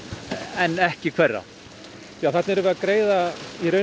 en ekki hverra þarna erum við að greiða